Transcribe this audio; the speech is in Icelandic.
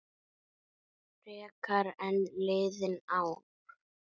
Frekar en liðin ár.